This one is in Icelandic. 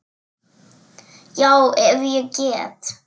Já, ef ég get.